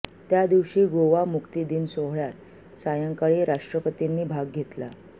त्यादिवशी गोवा मुक्ती दिन सोहळ्यात सायंकाळी राष्ट्रपतींनी भाग घेतला